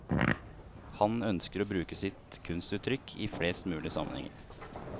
Han ønsker å bruke sitt kunstuttrykk i flest mulig sammenhenger.